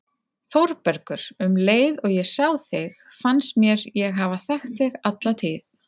ÞÓRBERGUR: Um leið og ég sá þig fannst mér ég hafa þekkt þig alla tíð.